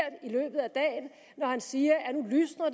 i når han siger